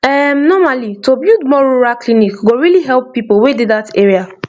erm normally to build more rural clinic go really help people wey dey that area